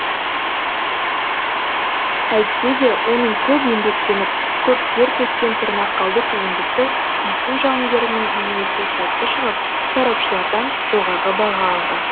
әйтсе де оның көп еңбектеніп көп тер төккен тырнақалды туындысы үйсін жауынгерінің бейнесі сәтті шығып сарапшылардан жоғары баға алды